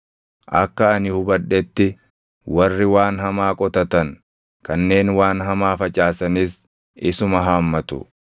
Akka ani hubadhetti warri waan hamaa qotatan, kanneen waan hamaa facaasanis isuma haammatu.